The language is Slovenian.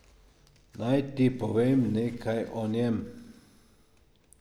Naj ti povem nekaj o njem.